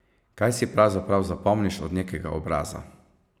Kaj si pravzaprav zapomniš od nekega obraza?